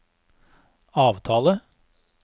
avtale